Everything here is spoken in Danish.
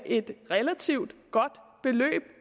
et relativt godt beløb